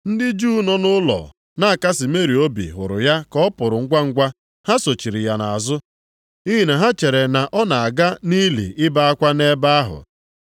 Ndị Juu nọ nʼụlọ na-akasị Meri obi hụrụ ya ka ọ pụrụ ngwangwa. Ha sochiri ya nʼazụ nʼihi na ha chere na ọ na-aga nʼili ibe akwa nʼebe ahụ.